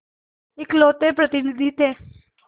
इकलौते प्रतिनिधि थे